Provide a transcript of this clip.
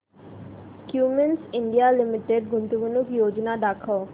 Cummins India limited गुंतवणूक योजना दाखव